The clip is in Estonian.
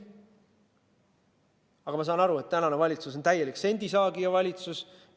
Aga ma saan aru, et praegune valitsus on täielik sendisaagija valitsus.